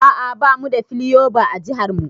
A'a bamu da plyova a jihar mu.